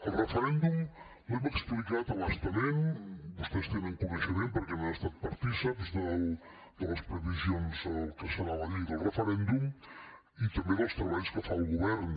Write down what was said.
el referèndum l’hem explicat a bastament vostès en tenen coneixement perquè han estat partícips de les previsions del que serà la llei del referèndum i també dels treballs que fa el govern